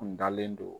N dalen don